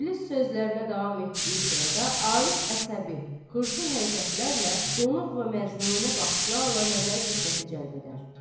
İblis sözlərinə davam etdiyi sırada Arif əsəbi, xırçın hərəkətlərlə donuq və məcnunə baxışlarla nəzər-i-diqqəti cəlb edər.